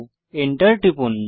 Enter টিপুন